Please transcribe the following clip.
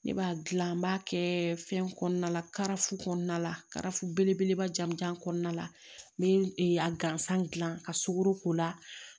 Ne b'a dilan n b'a kɛ fɛn kɔnɔna la karafu kɔnɔna la karafu belebeleba jamujan kɔnɔna la n be a gansan gilan ka sugaro k'o la